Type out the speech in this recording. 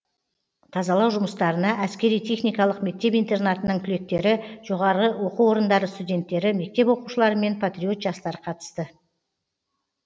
тазалау жұмыстарына әскери техникалық мектеп интернатының түлектері жоғары оқу орындары студенттері мектеп оқушылары мен патриот жастар қатысты